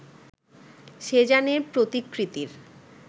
সেজানের প্রতিকৃতির